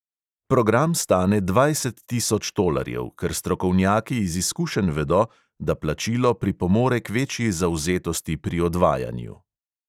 Program stane dvajset tisoč tolarjev, ker strokovnjaki iz izkušenj vedo, da plačilo pripomore k večji zavzetosti pri odvajanju.